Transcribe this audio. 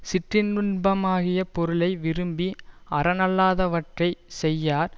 சிற்றின்பமாகிய பொருளை விரும்பி அறனல்லாதவற்றைச் செய்யார்